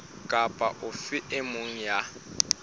kapa ofe e mong ya